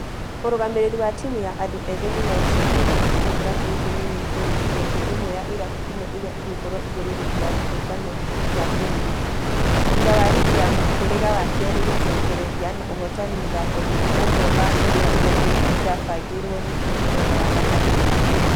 Mũrugamĩrĩri wa timũ ya andũ ethĩ migori chege ĩnamwĩhoko kĩrabu gĩkĩ nĩgĩkũrĩkia kĩimwe ya ĩrabu inya iria igũkorwo igũrũ rigi ya kĩũngano gĩa bũrũri. Thutha wa rigi ya mũhĩrĩga wa kerĩ gũcokereria na ũhotani mũthako-inĩ ũmwe wa iria ithatũ ĩrabangirwo rĩgĩ mũthenya wa gatatũ.